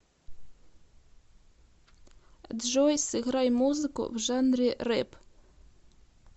джой сыграй музыку в жанре рэп